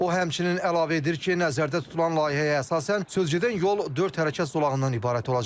O həmçinin əlavə edir ki, nəzərdə tutulan layihəyə əsasən sözgedən yol dörd hərəkət zolağından ibarət olacaq.